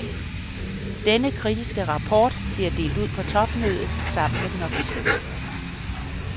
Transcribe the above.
Denne kritiske rapport bliver delt ud på topmødet sammen med den officielle.